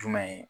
Jumɛn ye